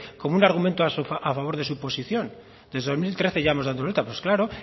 con un argumento a favor de su posición desde dos mil trece ya hemos dado vueltas